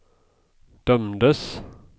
dömdes